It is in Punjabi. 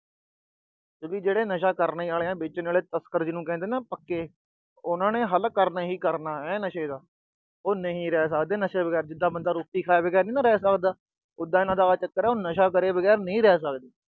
ਕਿਉਂਕਿ ਨਸ਼ਾ ਜਿਹੜਾ ਕਰਨ ਆਲੇ ਆ, ਵੇਚਣ ਆਲੇ ਆ, ਤਸਕਰ ਆ ਨਾ ਪੱਕੇ। ਉਹਨਾਂ ਨੇ ਹੱਲ਼ ਕਰਨਾ ਹੀ ਕਰਨਾ ਹੈ, ਨਸ਼ੇ ਦਾ। ਉਹ ਨਹੀਂ ਰਹਿ ਸਕਦੇ ਨਸ਼ੇ ਬਗੈਰ, ਜਿਦਾਂ ਬੰਦਾ ਰੋਟੀ ਖਾਏ ਬਗੈਰ ਨਹੀਂ ਰਹਿ ਸਕਦਾ। ਉਦਾਂ ਇਹਨਾਂ ਦਾ ਆਹ ਚੱਕਰ ਆ, ਉਹ ਨਸ਼ਾ ਕਰੇ ਬਗੈਰ ਨਹੀਂ ਰਹਿ ਸਕਦਾ।